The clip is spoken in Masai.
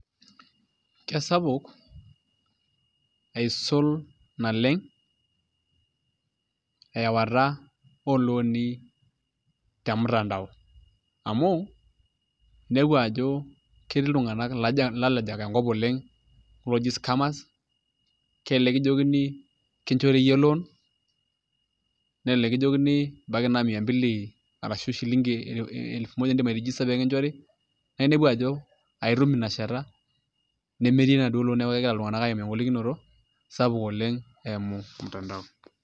Kesapuk asiul naleng' eawata oolooni te mtandao amu inepu ajo ketii iltung'anak, ilalejak enkop oleng' looji scammers kelelek kijokini kinchori iyie loan nelelek kijonkini ebaiki naa mia mbili ashu shilingi elfu moja iindim airejista pee kinchori naa inepu ajo aitum ina shata nemetii enaduoo loan neeku egira iltung'anak aimaa engolikinoto eimu mtandao.